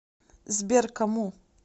сбер кому